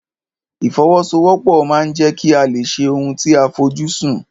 Ìfọwọ́sowọ́pọ̀ ma ń jẹ́ kí a lè ṣe ohun tí a fojú sùn.